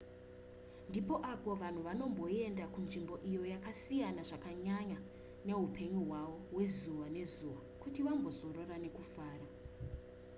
ndipo apo vanhu vanoenda kunzvimbo iyo yakasiyana zvakanyanya neupenyu hwavo hwezuva nezuva kuti vambozorora nekufara